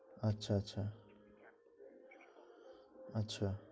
আচ্ছা, আচ্ছা, আচ্ছা